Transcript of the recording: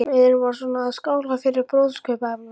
Við erum bara svona að skála fyrir brúðkaupsafmælinu.